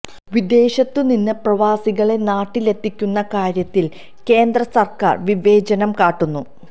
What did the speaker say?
വിദേശത്തു നിന്ന് പ്രവാസികളെ നാട്ടിലെത്തിക്കുന്ന കാര്യത്തിൽ കേന്ദ്ര സർക്കാർ വിവേചനം കാട്ടുന്നു